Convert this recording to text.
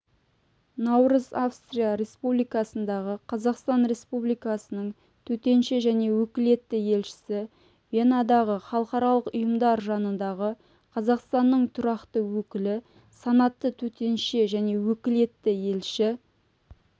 наурыз австрия республикасындағы қазақстан республикасының төтенше және өкілетті елшісі венадағы халықаралық ұйымдар жанындағы қазақстанның тұрақты өкілі санатты төтенше және өкілетті елші